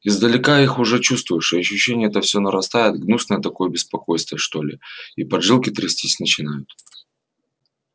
издалека их уже чувствуешь и ощущение это всё нарастает гнусное такое беспокойство что ли и поджилки трястись начинают